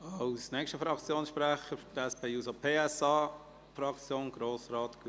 Als Nächstes hat Grossrat Gullotti das Wort für die SP-JUSO-PSA-Fraktion.